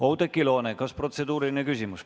Oudekki Loone, kas protseduuriline küsimus?